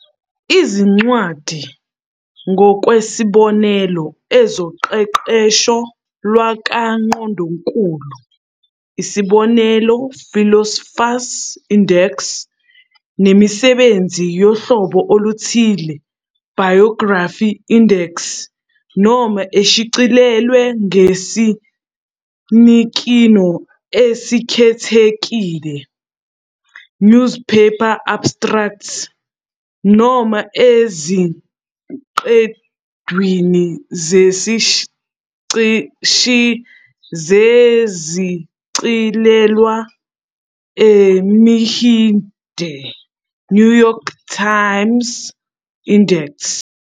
Izincwadi, ngokwesibonelo, ezoqeqesho lakwaNgqondonkulu, isbn- "Philosopher's Index", nemisebenzi yohlobo oluthile, "Biography Index", noma eshicilelwe ngesinikino esikhethekile, "Newspaper Abstracts", noma eziqendwini zesichilelwa esimhide, "New York Times Index".